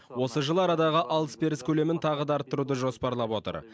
осы жылы арадағы алыс беріс көлемін тағы да арттыруды жоспарлап отыр